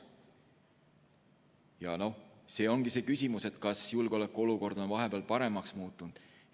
See küsimuse, kas julgeolekuolukord on vahepeal paremaks muutunud.